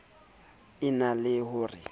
e na le ho re